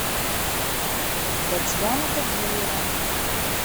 татьяна тагиева